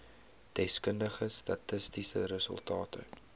deskundige statistiese resultate